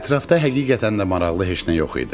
Ətrafda həqiqətən də maraqlı heç nə yox idi.